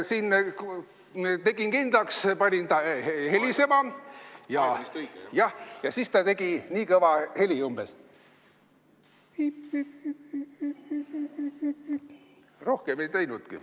Siin tegin kindlaks, panin ta helisema ja siis ta tegi umbes nii kõva heli.